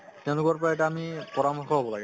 তেওঁলোকৰ পৰা এটা আমি পৰামৰ্শ লʼব লাগে